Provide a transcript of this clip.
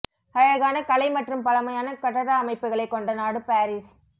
அழகான கலை மற்றும் பழமையான கட்டட அமைப்புகளை கொண்ட நாடு பாரிஸ்